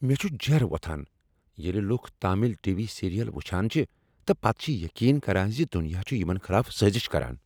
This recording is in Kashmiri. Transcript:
مےٚ چھ جیرہ وۄتھان ییٚلہ لکھ تامل ٹی۔ وی سیریل وٕچھان چھ تہٕ پتہٕ چھ یقین کران ز دنیا چھ یمن خلاف سٲزش کران۔